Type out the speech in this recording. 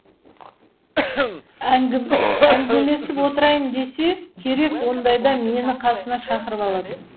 әңгімелесіп отырайын десе керек ондайда мені қасына шақырып алады